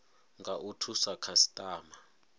nga u thusa khasitama